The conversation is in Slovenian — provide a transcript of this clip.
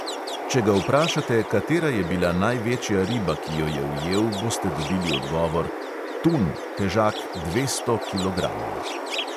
Če ga vprašate, katera je bila največja riba, ki jo je ujel, boste dobili odgovor: tun, težak dvesto kilogramov.